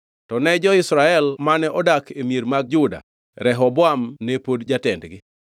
To ni jo-Israel mane odak e mier mag Juda, Rehoboam ne pod jatendgi.